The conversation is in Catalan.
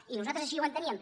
i nosaltres ai·xí ho enteníem